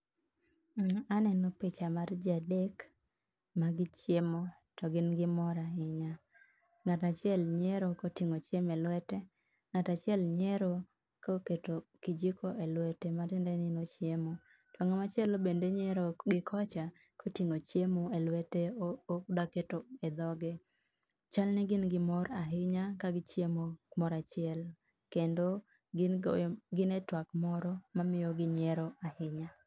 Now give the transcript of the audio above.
Aneno picha mar jii adek magichiemo to gin gi mor ahinya. Ng'atachiel nyiero koting'o chiemo e lwete, ng'atachiel nyiero koketo kijiko e lwete matiende ni nochiemo. Ng'atmachielo bende nyiero gi kocha koting'o chiemo elwete odaketo e dhoge chalni gin gi mor ahinya kagichiemo kamoro achiel kendo gin e twak moro ma miyo gi nyiero ahinya